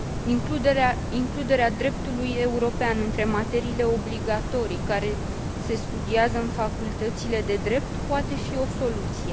Includerea dreptului european între materiile obligatorii care se studiază în facultățile de drept poate fi o soluție.